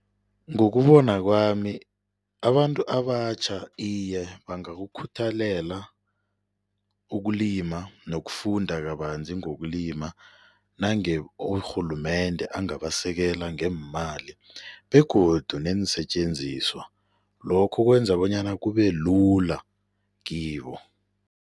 Ngokubona kwami abantu abatjha iye bangakukhuthalela ukulima nokufunda kabanzi ngokulima nange urhulumende angabasekela ngeemali begodu neensetjenziswa. Lokho kwenza bonyana kubelula kibo.